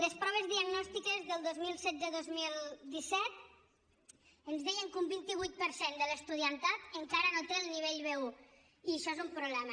les proves diagnostiques del dos mil setze dos mil disset ens deien que un vint vuit per cent de l’estudiantat encara no té el nivell b1 i això és un problema